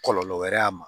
Kɔlɔlɔ wɛrɛ y'a ma